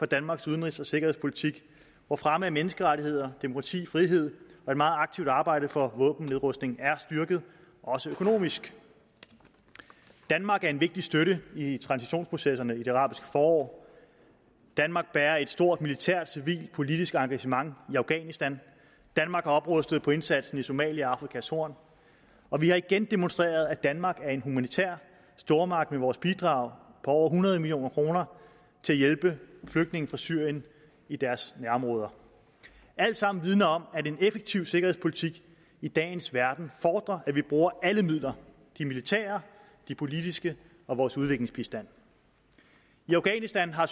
danmarks udenrigs og sikkerhedspolitik hvor fremme af menneskerettigheder demokrati frihed og et meget aktivt arbejde for våbennedrustning er styrket også økonomisk danmark er en vigtig støtte i transitionsprocesserne i det arabiske forår danmark bærer et stort militært civilt og politisk engagement i afghanistan danmark har oprustet på indsatsen i somalia og på afrikas horn og vi har igen demonstreret at danmark er en humanitær stormagt med vores bidrag på over hundrede million kroner til at hjælpe flygtninge fra syrien i deres nærområder alt sammen vidner om at en effektiv sikkerhedspolitik i dagens verden fordrer at vi bruger alle midler de militære de politiske og vores udviklingsbistand i afghanistan har